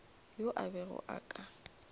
yo a bego a ka